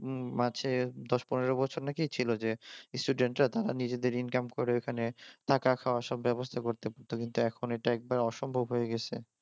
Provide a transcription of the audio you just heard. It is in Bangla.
মাঝে দশ পনেৱো বছর নাকি ছিল যে স্টুডেন্টরা নিজেদের ইনকাম করে ওখানে তাদের থাকা খাওয়া খাবার ব্যবস্থা করে থাকতে পারত কিন্তু এখন এটা একবারে অসম্ভব হয়ে গেছে